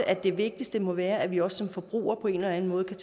at det vigtigste må være at vi også som forbrugere på en eller anden måde kan